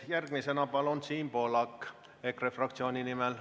Järgmisena Siim Pohlak EKRE fraktsiooni nimel.